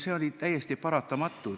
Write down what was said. See oli täiesti paratamatu.